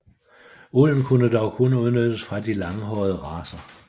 Ulden kunne dog kun udnyttes fra de langhårede racer